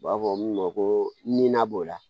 U b'a fɔ min ma ko nina b'o la